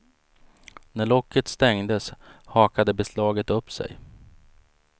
När locket stängdes hakade beslaget upp sig.